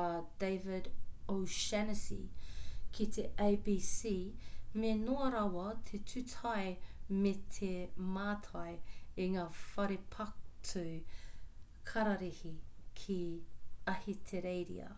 a david o'shannessy ki te abc me noa rawa te tūtai me te mātai i ngā whare patu kararehe ki ahitereiria